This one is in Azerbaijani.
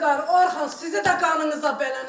İlqar, Orxan, sizi də qanınıza bələni.